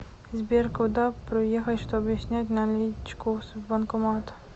сбер куда проехать чтобы снять наличку с банкомата